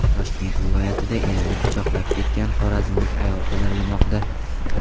Toshkent viloyatida erini pichoqlab ketgan xorazmlik ayol qidirilmoqda.